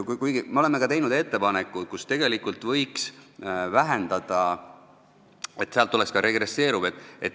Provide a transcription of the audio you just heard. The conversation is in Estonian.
Kuigi me oleme teinud ka ettepaneku, et tegelikult võiks seda vähendada, nii et see oleks ka regresseeruv.